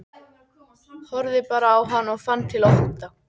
Horfði bara á hann og fann til ótta.